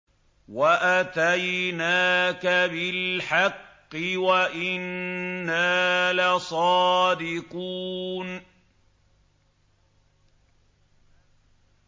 وَأَتَيْنَاكَ بِالْحَقِّ وَإِنَّا لَصَادِقُونَ